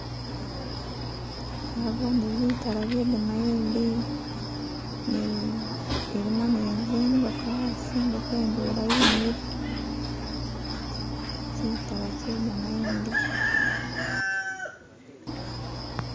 Naboone bitala bye gamayindi ilimo ni zingoko asi, ingoko indwela yimile kimitala kye gamayindi